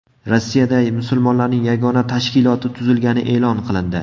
Rossiyada musulmonlarning yagona tashkiloti tuzilgani e’lon qilindi.